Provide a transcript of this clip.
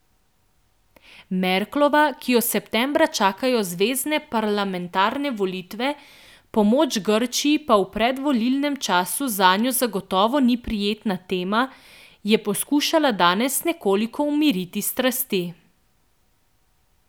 Merklova, ki jo septembra čakajo zvezne parlamentarne volitve, pomoč Grčiji pa v predvolilnem času zanjo zagotovo ni prijetna tema, je poskušala danes nekoliko umiriti strasti.